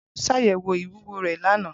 Bolu ṣayẹwo iwuwo rẹ lana.